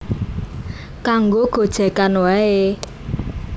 Kanggo gojegan wae